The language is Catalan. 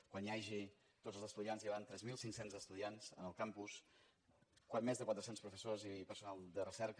quan hi hagi tots els estudiants hi hauran tres mil cinc cents estudiants al campus més de quatre cents professors i personal de recerca